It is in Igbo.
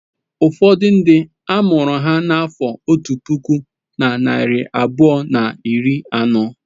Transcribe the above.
Ụfọdụ ndị a mụrụ ha n'afọ otu puku na narị abụọ na iri anọ.